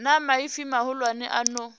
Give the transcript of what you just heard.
na maipfi mahulwane a no